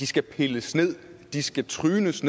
skal pilles ned at de skal trynes